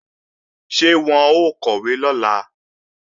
Ṣé wọn ó kọ̀wé lọ́la?